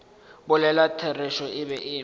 bolela therešo e be e